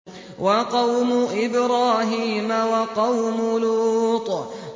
وَقَوْمُ إِبْرَاهِيمَ وَقَوْمُ لُوطٍ